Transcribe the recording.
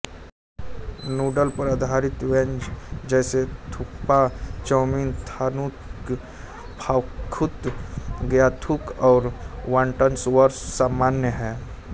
noodle पर आधारित व्यंजन जैसे थुक्पा चाउमीन थान्तुक फाख्तु ग्याथुक और वॉनटनसर्वसामान्य हैं